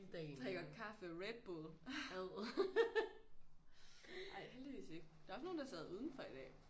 Drikker kaffe Red Bull. Ej heldigvis ikke der er også nogle der sad udenfor i dag